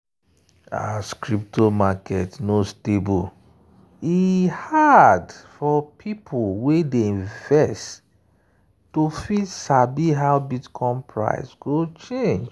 as crypto market no stable e hard for people wey dey invest to fit sabi how bitcoin price go change.